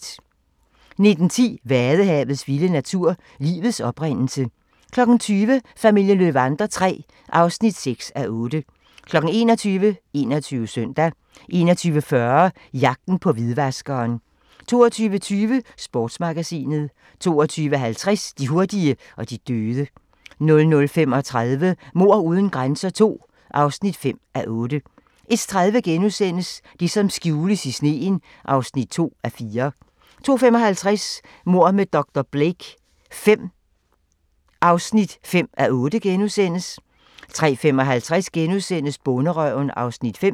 19:10: Vadehavets vilde natur: Livets oprindelse 20:00: Familien Löwander III (6:8) 21:00: 21 Søndag 21:40: Jagten på hvidvaskeren 22:20: Sportsmagasinet 22:50: De hurtige og de døde 00:35: Mord uden grænser II (5:8) 01:30: Det, som skjules i sneen (2:4)* 02:55: Mord med dr. Blake V (5:8)* 03:55: Bonderøven (Afs. 5)*